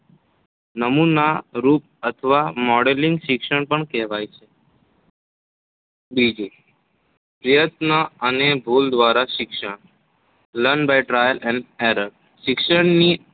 નમૂનારૂપ અથવા modling મિશણ પણ કહેવાય છે. બીજું પ્રયત્ન અને ભૂલ દ્વારા શિક્ષણ Learning by Trial & Error શિક્ષણની